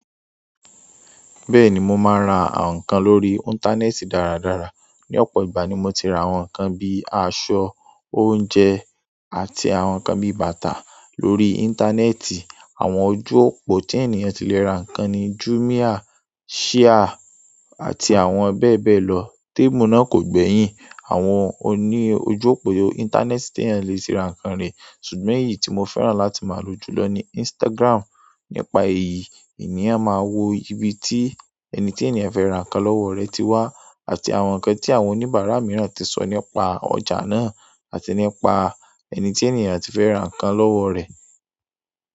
Bẹ́ẹ̀ni mo máa ra àwọn nǹkan lórí íńtánẹ́ẹ̀tì dáradára. Ni opo ìgbà ni mo ti ra àwọn nkan bi aṣọ oúnjẹ àti àwọn nkan bi bàtà lórí intaaneeti. Àwọn ojú òpó tí ènìyàn ti lè ra nǹkan ni Jumia, Shia àti àwọn bẹ́ẹ̀ bẹ́ẹ̀ lọ. Témù náà kò gbẹ̀yìn àwọn oní ojú òpó íńtánẹ́ẹ̀tì tí ènìyàn le ṣe ra nǹkan ree sugbo èyí ti mo fẹ́ràn láti ma lo jùlọ ni Instagram. Nípa èyí, ènìyàn máa wo ibi tí ẹni tí ènìyàn fẹ́ ra nǹkan lọ́wọ́ rẹ̀ ti wà àti àwọn nǹkan tí àwọn oníbàárà mìíràn ti sọ nípa ọjà náà àti nípa ẹni tí ènìyàn ti fẹ́ ra nǹkan lọ́wọ́ rẹ̀.